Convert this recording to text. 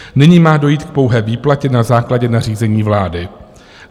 Nyní má dojít k pouhé výplatě na základě nařízení vlády.